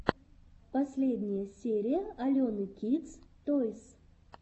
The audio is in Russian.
последняя серия алены кидс тойс